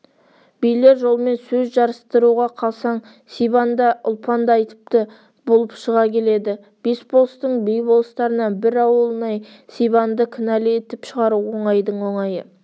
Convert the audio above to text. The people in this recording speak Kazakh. билер жолмен сөз жарыстыруға қалсаң сибан да ұлпан да айыпты болып шыға келеді бес болыстың би-болыстарына бір ауылнай сибанды кінәлі етіп шығару оңайдың оңайы